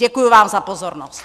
Děkuji vám za pozornost.